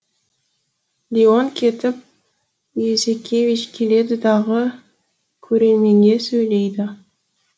леон кетіп юзекевич келеді дағы көрерменге сөйлейді